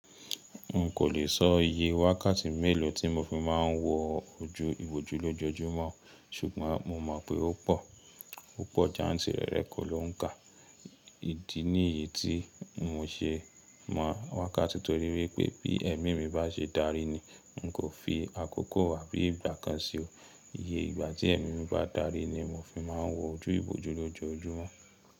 N kò le sọ iye wákàtí mélòó tí mo fi máà ń wọ ojú ìbòjú lójojúmọ́, ṣùgbọ́n mo mọ̀ pé ó pọ̀, ó pọ̀ jantìrẹrẹ kò lọ́ún kà. Ìdí nìyí tí mo ṣe mọ́ wákàtí torí wípé bí ẹ̀mí mi bá ṣe darí ni n kò fi àkókò wá bí ìgbà kan ṣe o. Iye ìgbà tí ẹ̀mí mi bá darí ni mo fi máà ń wọ ojú ìbòjú lójojúmọ́.